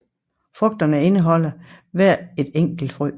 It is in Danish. Frugterne indeholder hver ét enkelt frø